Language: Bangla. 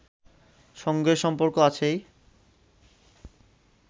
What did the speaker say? সঙ্গে সম্পর্ক আছেই